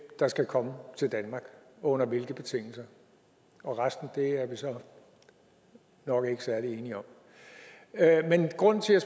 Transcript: der skal komme til danmark og under hvilke betingelser resten er vi så nok ikke særlig enige om men grunden til at